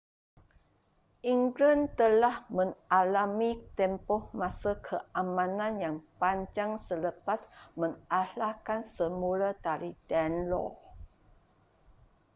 england telah mengalami tempoh masa keamanan yang panjang selepas mengalahkan semula dari danelaw